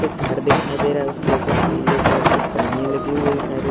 एक घर दिखाई दे रहा है उसके ऊपर पीले कलर की पन्नी लगी हुई है सारी।